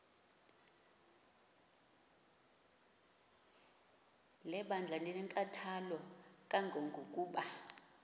lebandla linenkathalo kangangokuba